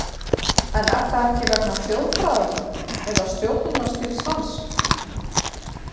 En það er ekki vegna þjóðfræðanna eða stjórnunarstíls hans?